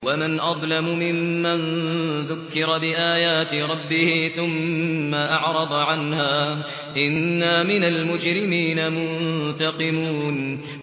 وَمَنْ أَظْلَمُ مِمَّن ذُكِّرَ بِآيَاتِ رَبِّهِ ثُمَّ أَعْرَضَ عَنْهَا ۚ إِنَّا مِنَ الْمُجْرِمِينَ مُنتَقِمُونَ